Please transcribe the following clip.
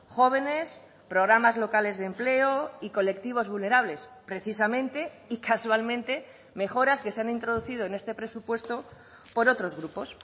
jóvenes programas locales de empleo y colectivos vulnerables precisamente y casualmente mejoras que se han introducido en este presupuesto por otros grupos